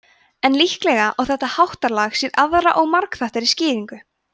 en líklega á þetta háttalag sér aðra og margþættari skýringu